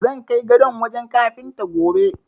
Zan kai gadon wajen kafinta, gobe.